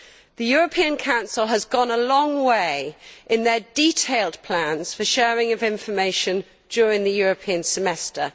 The European Council has gone a long way in their detailed plans for sharing of information during the European Semester.